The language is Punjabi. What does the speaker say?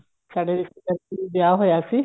ਸਾਡੇ ਰਿਸ਼ਤੇਦਾਰ ਵਿੱਚ ਵਿਆਹ ਹੋਇਆ ਸੀ